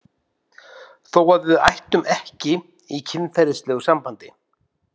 Þó að við ættum ekki í kynferðislegu sambandi.